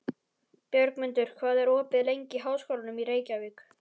Björgmundur, hvað er opið lengi í Háskólanum í Reykjavík?